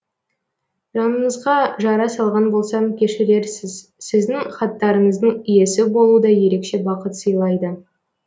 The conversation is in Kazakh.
жаныңызға жара салған болсам кешірерсіз сіздің хаттарыңыздың иесі болу да ерекше бақыт сыйлайды